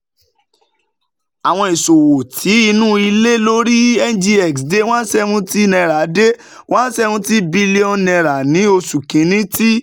Awọn iṣowo ti inu ile lori NGX de one seventy naira de one seventy billion nairau ni Oṣu Kini, ti